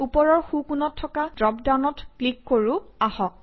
ওপৰৰ সোঁকোণত থকা ড্ৰপ ডাউনত ক্লিক কৰোঁ আহক